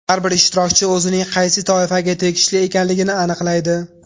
Har bir ishtirokchi o‘zining qaysi toifaga tegishli ekanligini aniqlaydi.